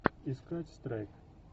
искать страйк